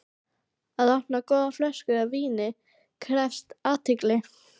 Að opna góða flösku af víni krefst athygli.